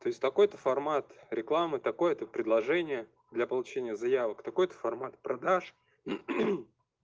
то есть такой-то формат рекламы такое-то предложение для получения заявок такой-то формат продаж